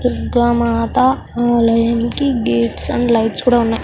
దుర్గ మాత ఆలయానికి gates and lights కూడా ఉన్నాయి .